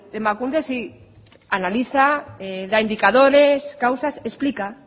emakunde sí analiza da indicadores causas explica